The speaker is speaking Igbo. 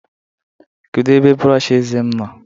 kedu ebe brọsh eze m nọ?